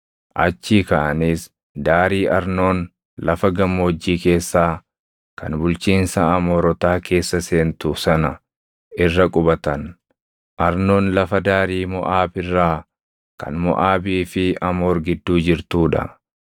Achii kaʼaniis daarii Arnoon lafa gammoojjii keessaa kan bulchiinsa Amoorotaa keessa seentu sana irra qubatan. Arnoon lafa daarii Moʼaab irraa kan Moʼaabii fi Amoor gidduu jirtuu dha.